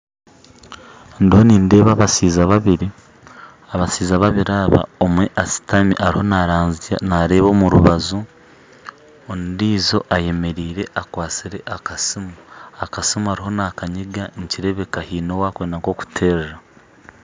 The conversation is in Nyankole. Ndiho nindeeba abashaija babiri omwe ashitami ariho nareeba omurubaju ondiijo ayemeriire akwatsire akasimu akasimu ariho nakanyiga nikirebeka haine owarikwenda nkokuterera